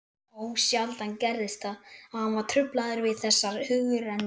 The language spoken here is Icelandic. Ósjaldan gerðist það, að hann var truflaður við þessar hugrenningar.